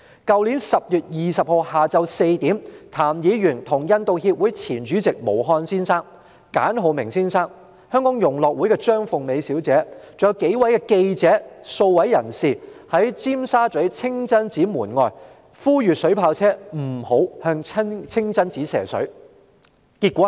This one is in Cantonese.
去年10月20日下午4時，譚議員與印度協會前主席毛漢先生、簡浩明先生，以及香港融樂會的張鳳美小姐及數位記者和公眾人士，在尖沙咀清真寺門外呼籲警方不要使用水炮車向清真寺射水。